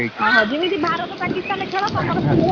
ଅହ, ଯେମିତି ଭାରତ ପାକିସ୍ଥାନ ଖେଳ ତମର ସେଇଭଳିଆ?